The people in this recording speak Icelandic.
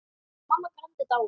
Mamma Grand er dáin.